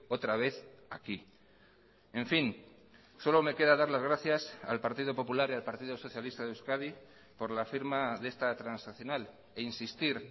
otra vez aquí en fin solo me queda dar las gracias al partido popular y al partido socialista de euskadi por la firma de esta transaccional e insistir